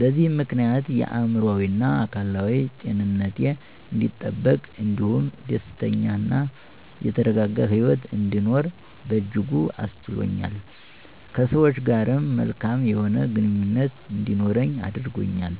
በዚህም ምክንያት የአእምሮአዊና አካላዊ ጤንነቴ አንዲጠበቅ እንዲሁም ደስተኛ እና የተረጋጋ ሂወት እንድኖር በእጅጉ አስችሎኛል። ከሰወች ጋርም መልካም የሆነ ግንኙነት እንዲኖረኝ አድርጎኛል።